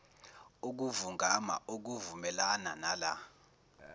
ukuvungama okuvumelana nala